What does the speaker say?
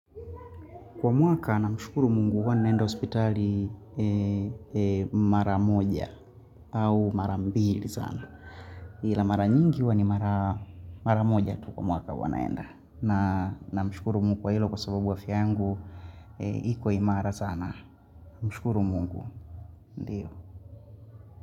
Kwa mwaka namshukuru mungu huwa naenda hospitali mara moja au mara mbili sana. Ila mara nyingi huwa ni mara moja tu kwa mwaka huwa naenda. Namshukuru mungu wa hilo kwa sababu wa afya yangu, iko imara sana. Mshukuru mungu. Ndiyo.